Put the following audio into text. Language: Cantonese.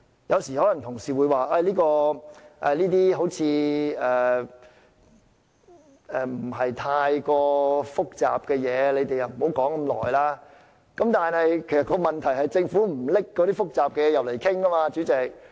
有時候，同事可能會說這些事情並不太複雜，故我們不應討論這麼久，但問題是政府不把複雜的問題提交立法會討論，主席。